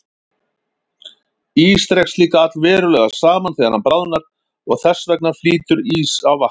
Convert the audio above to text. Ís dregst líka allverulega saman þegar hann bráðnar og þess vegna flýtur ís á vatni.